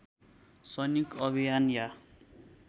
सैनिक अभियान या